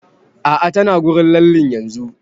A'a ta na wurin lallen yanzun